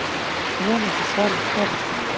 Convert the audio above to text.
Vonandi svarar kærastinn.